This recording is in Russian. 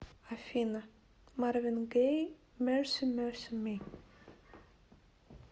афина марвин гэй мерси мерси ми